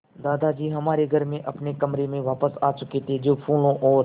दादाजी हमारे घर में अपने कमरे में वापस आ चुके थे जो फूलों और